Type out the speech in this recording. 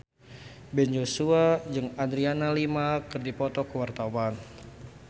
Ben Joshua jeung Adriana Lima keur dipoto ku wartawan